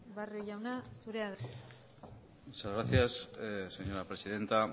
barrio jauna zurea da hitza muchas gracias señora presidenta